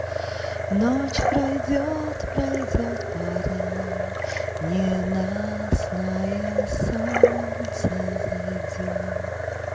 ночь пройдёт пройдёт пора ненастная солнце взойдёт